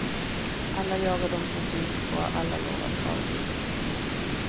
Alla jagar dem som finns, och alla lovar paradiset.